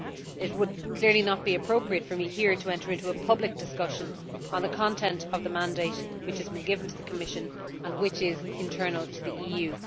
It would clearly not be appropriate for me here to enter into a public discussion on the content of the mandate which has been given to the Commission and which is internal to the EU.